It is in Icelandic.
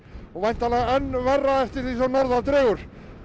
og væntanlega enn verra eftir því sem norðar dregur